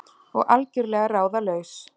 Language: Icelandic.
Og algjörlega ráðalaus.